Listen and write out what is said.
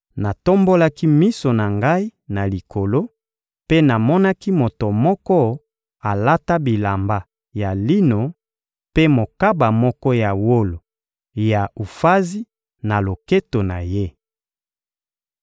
natombolaki miso na ngai na likolo mpe namonaki moto moko alata bilamba ya lino mpe mokaba moko ya wolo ya Ufazi na loketo na ye.